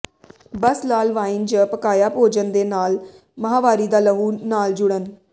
ਬਸ ਲਾਲ ਵਾਈਨ ਜ ਪਕਾਇਆ ਭੋਜਨ ਦੇ ਨਾਲ ਮਾਹਵਾਰੀ ਦਾ ਲਹੂ ਨਾਲ ਜੁੜਨ